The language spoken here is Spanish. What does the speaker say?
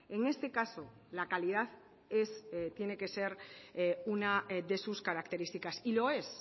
en este caso la calidad es tiene que ser una de sus características y lo es